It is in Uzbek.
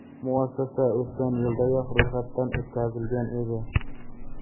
Muassasa o‘tgan yildayoq ro‘yxatdan o‘tkazilgan edi.